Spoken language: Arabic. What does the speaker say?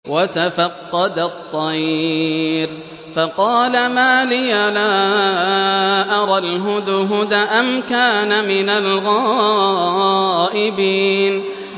وَتَفَقَّدَ الطَّيْرَ فَقَالَ مَا لِيَ لَا أَرَى الْهُدْهُدَ أَمْ كَانَ مِنَ الْغَائِبِينَ